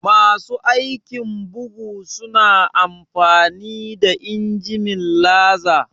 Masu aikin bugu su na amfani da injimin laser?